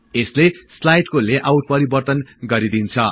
यसले स्लाईडको लेआउट परिवर्तन गरिदिन्छ